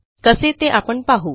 कसे ते आपण पाहू